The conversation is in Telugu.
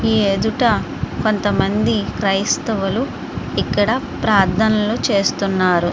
ఈ ఎదుట కొంతమంది క్రైస్తవులు ఇక్కడ ప్రార్థనలు చేస్తున్నారు.